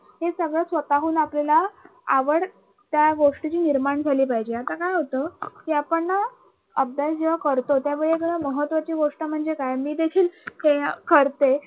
हे सगळं स्वतःहून आपल्याला आवड त्या गोष्टीची निर्माण झाली पाहिजे आता काय होत कि आपण ना अभ्यास जेव्हा करतो त्यावेळीआपल्याला महत्वाची गोष्ट म्हणजे काय मी देखील हे करते कि अं अभ्यासाचं ना